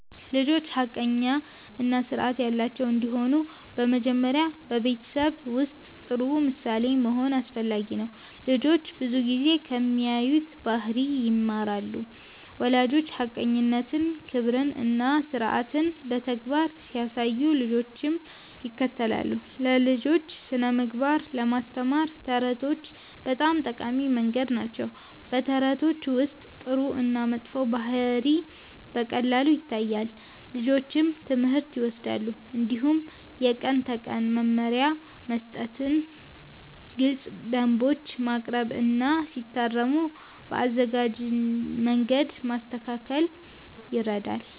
ልጆች ሐቀኛ እና ስርዓት ያላቸው እንዲሆኑ በመጀመሪያ በቤተሰብ ውስጥ ጥሩ ምሳሌ መሆን አስፈላጊ ነው። ልጆች ብዙ ጊዜ ከሚያዩት ባህሪ ይማራሉ። ወላጆች ሐቀኝነትን፣ ክብርን እና ስርዓትን በተግባር ሲያሳዩ ልጆችም ይከተላሉ። ለልጆች ስነ-ምግባር ለማስተማር ተረቶች በጣም ጠቃሚ መንገድ ናቸው። በተረቶች ውስጥ ጥሩ እና መጥፎ ባህሪ በቀላሉ ይታያል፣ ልጆችም ትምህርት ይወስዳሉ። እንዲሁም የቀን ተቀን መመሪያ መስጠት፣ ግልፅ ደንቦች ማቅረብ እና ሲታረሙ በአዘናጋጅ መንገድ ማስተካከል ይረዳል።